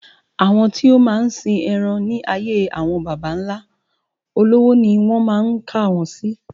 Àwọn tí o máa ń sìn eran ní ayé àwọn bàbá nlá, olówó ni won máa kà wọn si